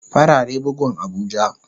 Farare bugun abuja.